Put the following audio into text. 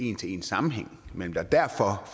en til en sammenhæng mellem det og derfor